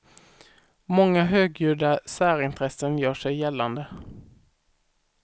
Många högljudda särintressen gör sig gällande.